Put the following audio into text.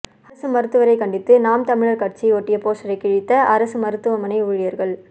அரசு மருத்துவரை கண்டித்து நாம் தமிழர் கட்சி ஒட்டிய போஸ்டரை கிழித்த அரசு மருத்துவமனை ஊழியர்கள்